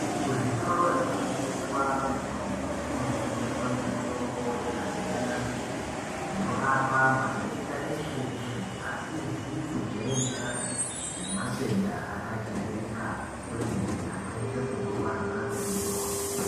Kuzvitoro zvinotengeswa mitombo kunotengeswa mitombo yakasiyana-siyana inorapa matenda eshe-eshe, asizi kujairikapi nematenda akajairika kwemene, akaita sekurwadza kwemusoro.